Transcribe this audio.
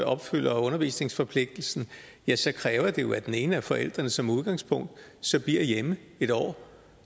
opfylder undervisningsforpligtelsen ja så kræver det jo at den ene af forældrene som udgangspunkt bliver hjemme et år